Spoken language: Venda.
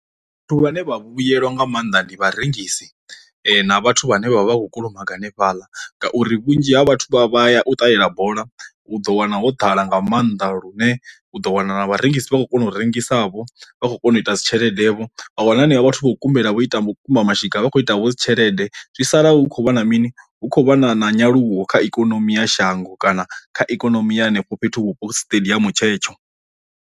Vhathu vhane vha vhuyelwa nga maanḓa ndi vharengisi na vhathu vhane vha vha vha khou kulumaga hanefhaḽa ngauri vhunzhi ha vhathu vha vha ya u ṱalela bola u ḓo wana ho ḓala nga maanḓa lune u ḓo wana na vharengisi vha khou kona u rengisa vho vha khou kona u ita dzi tshelede vho a wana henevho vhathu vho kumbela vho ita makumba mashika vha kho ita vho dzi tshelede, zwi sala hu khou vha na mini hu khou vha na na nyaluwo kha ikonomi ya shango kana kha ikonomi ya henefho fhethu vhupo siṱediamu tshetsho.